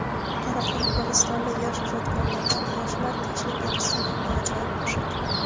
Qoraqalpog‘istonlik yosh ijodkorlaridan "Yoshlar — tinchlik elchisi" nomli ajoyib qo‘shiq.